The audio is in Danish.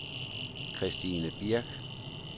Kirstine Birch